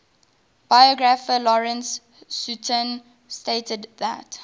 biographer lawrence sutin stated that